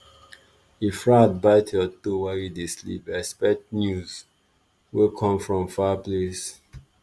if rat bite your toe while you dey sleep expect news wey come from far place.